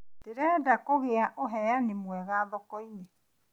Ndĩrehoka kũgĩa ũheani mwega thoko-inĩ.